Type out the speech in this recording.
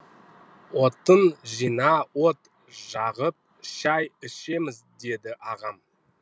отын жина от жағып шай ішеміз деді ағам